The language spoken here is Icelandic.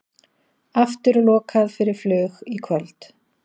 Aftur lokað fyrir flug í kvöld